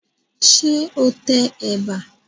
Ṣé o tẹ ẹ̀bà?